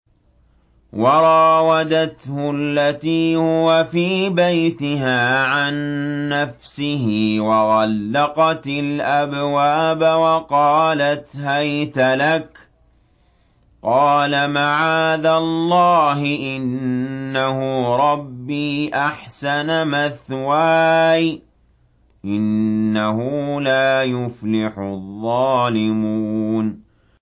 وَرَاوَدَتْهُ الَّتِي هُوَ فِي بَيْتِهَا عَن نَّفْسِهِ وَغَلَّقَتِ الْأَبْوَابَ وَقَالَتْ هَيْتَ لَكَ ۚ قَالَ مَعَاذَ اللَّهِ ۖ إِنَّهُ رَبِّي أَحْسَنَ مَثْوَايَ ۖ إِنَّهُ لَا يُفْلِحُ الظَّالِمُونَ